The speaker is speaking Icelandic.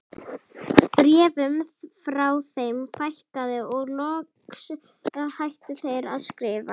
Bréfum frá þeim fækkaði og loks hættu þeir að skrifa.